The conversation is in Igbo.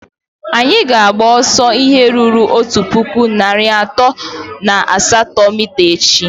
Anyị ga-agba ọsọ ihe rụrụ otu puku na narị atọ na asatọ mita echi.